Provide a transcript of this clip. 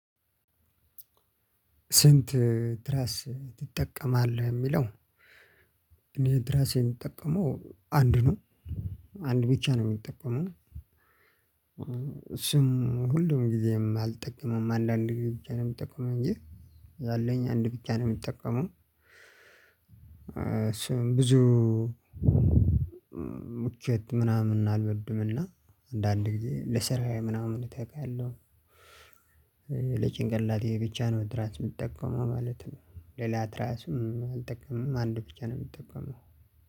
ስንት ትራስ ትጠቀማለህ ሚለው? እኔ ትራስ የምጠቀመው አንድ ነው። አንድ ብቻ ነው ምጠቀመው። ስም ሁሉም ጊዜም አልጠቀመም አንዳንዴ ጊዜ ብቻ ነው የምጠቀመው እንጂ ያለኝ አንድ ብቻ ነው የሚጠቀመው። ስም ብዙ ምቾት ምናምን አልወድምና አንዳንድ ጊዜ ለስራዬ ምናምን እተጋለሁ። ለጭንቀላቴ ብቻ ነው ትራስ የምትጠቀመው ማለት ነው። ሌላ ትራስም አልጠቀምም አንድ ብቻ ነው የምትጠቀመው።